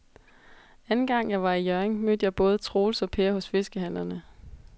Anden gang jeg var i Hjørring, mødte jeg både Troels og Per hos fiskehandlerne.